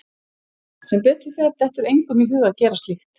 Sem betur fer dettur engum í hug að gera slíkt.